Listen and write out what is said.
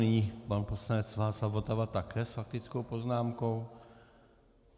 Nyní pan poslanec Václav Votava také s faktickou poznámkou.